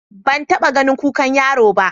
Ban taɓa ganin kukan yaro ba.